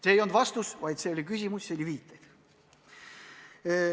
See ei olnud vastus, see oli viide.